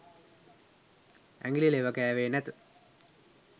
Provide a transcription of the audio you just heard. ඇඟිලි ලෙව කෑවේ නැත.